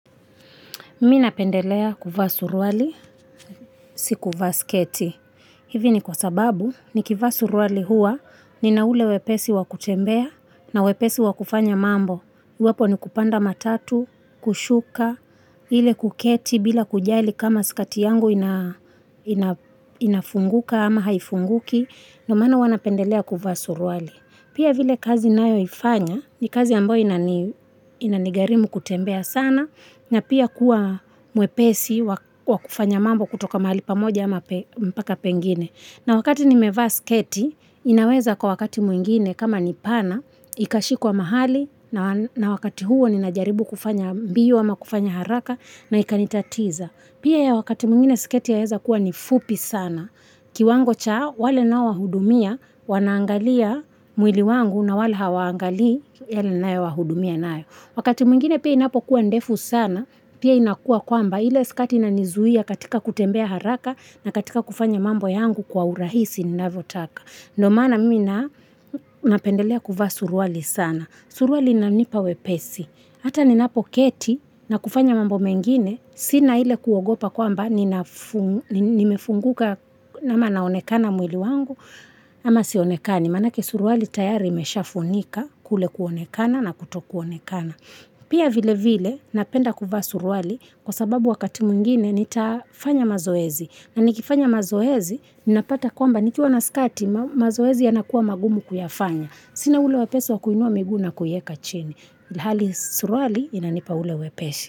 Mimi napendelea kuvaa suruali, si kuvaa sketi. Hivi ni kwa sababu, nikivaa suruali huwa, nina ule wepesi wa kutembea na wepesi wa kufanya mambo. Iwapo ni kupanda matatu, kushuka, ile kuketi bila kujali kama skati yangu inafunguka ama haifunguki. Ndio maana huwa napendelea kuvaa suruali. Pia vile kazi ninayoifanya, ni kazi ambayo inanigharimu kutembea sana. Na pia kuwa mwepesi wa kufanya mambo kutoka mahali pamoja mpaka pengine. Na wakati nimevaa sketi, inaweza kuwa wakati mwingine kama ni pana, ikashikwa mahali na wakati huo ninajaribu kufanya mbio ama kufanya haraka na ikanitatiza. Pia wakati mwingine sketi yaweza kuwa ni fupi sana. Kiwango cha wale ninaowahudumia, wanaangalia mwili wangu na wala hawaangalii yale ninayowahudumia nayo. Wakati mwingine pia inapokuwa ndefu sana, pia inakuwa kwamba ile skati inanizuia katika kutembea haraka na katika kufanya mambo yangu kwa urahisi ninavyotaka. Ndio maana mimi napendelea kuvaa suruali sana. Suruali inanipa wepesi. Hata ninapoketi na kufanya mambo mengine sina ile kuogopa kwamba nimefunguka amana naonekana mwili wangu ama sionekani. Manake suruali tayari imeshafunika kule kuonekana na kutokuonekana. Pia vile vile napenda kuvaa suruali kwa sababu wakati mwingine nitafanya mazoezi. Na nikifanya mazoezi, ninapata kwamba nikiwa na skati mazoezi yanakuwa magumu kuyafanya. Sina ule wepesi wakuinua miguu na kuiweka chini. Suruali inanipa ule wepesi.